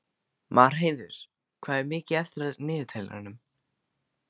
Marheiður, hvað er mikið eftir af niðurteljaranum?